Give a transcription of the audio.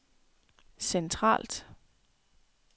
centralt